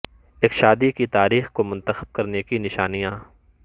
ایک شادی کی تاریخ کو منتخب کرنے کی نشانیاں